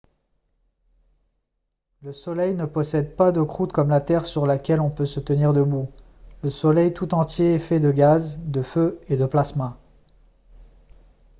le soleil ne possède pas de croûte comme la terre sur laquelle on peut se tenir debout le soleil tout entier est fait de gaz de feu et de plasma